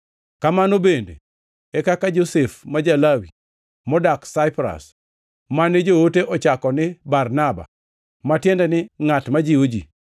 Kamano bende, e kaka Josef ma Ja-Lawi modak Saipras, mane joote ochako ni Barnaba (ma tiende ni “Ngʼat ma jiwo ji”),